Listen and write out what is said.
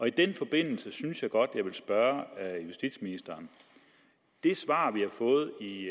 i den forbindelse synes jeg godt jeg vil spørge justitsministeren det svar vi har fået i